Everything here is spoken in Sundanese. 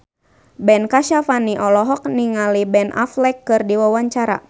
Ben Kasyafani olohok ningali Ben Affleck keur diwawancara